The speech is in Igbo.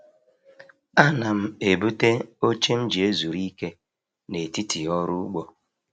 Ana m ebute oche m ji ezuru ike n’etiti ọrụ ugbo.